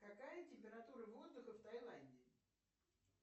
какая температура воздуха в тайланде